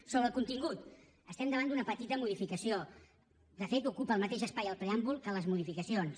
sobre el contingut estem davant d’una petita modificació de fet ocupa el mateix espai el preàmbul que les modificacions